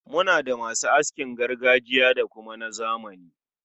Muna da ma su askin gargajiya da kuma na zamani.